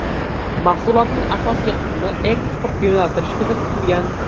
Mahsulotning asosiy qismini eksportga yo‘naltirish ko‘zda tutilgan.